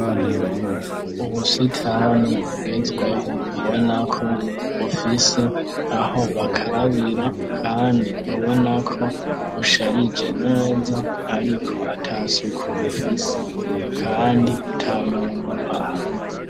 Ubusitani bugezweho ubonako bufise aho bakarabira, kandi ubonako busharije neza, ariko ata suka bufise, kandi ata muntu ahane.